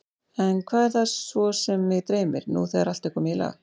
En hvað er það svo sem mig dreymir, nú þegar allt er komið í lag?